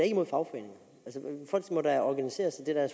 imod fagforeninger folk må da organisere sig det er